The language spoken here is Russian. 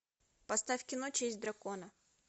поставь кино честь дракона